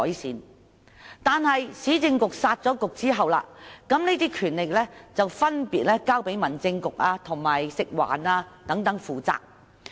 然而，在市政局被"殺局"後，這些權力便分別交給民政事務局和食物環境衞生署負責。